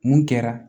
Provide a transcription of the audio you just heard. Mun kɛra